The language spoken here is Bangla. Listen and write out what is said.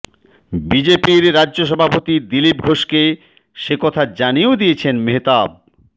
বিজেপির রাজ্য সভাপতি দিলীপ ঘোষকে সেকথা জানিয়েও দিয়েছেন মেহতাব